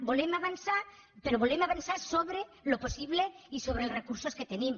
volem avançar però volem avançar sobre el possible i sobre els recursos que tenim